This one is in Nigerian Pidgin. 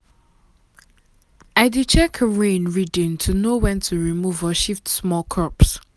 E nor fit milk cow wey get wound except say d animal doctor gree.